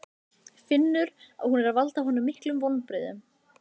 Finnur að hún er að valda honum miklum vonbrigðum.